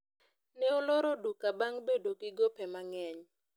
ne oloro duka bang' bedo gi gope mang'eny